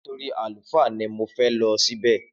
Nítorí àlùfáà ni mo fẹ lo ṣì bẹ